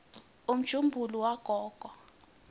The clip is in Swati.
umjumbula wagogo